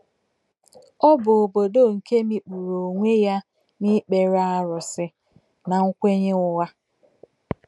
Ọ bụ obodo nke mikpuru onwe ya n’ikpere arụsị na nkwenye ụgha.